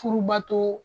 Furubato